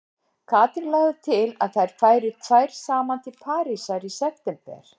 Katrín lagði til að þær færu tvær saman til Parísar í september.